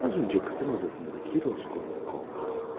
Bir az əvvəl qızın otağındakı Raskolnikov idi.